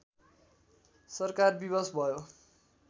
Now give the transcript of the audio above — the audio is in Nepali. सरकार विवश भयो